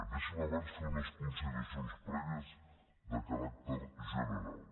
deixin me abans fer unes consideracions prèvies de caràcter general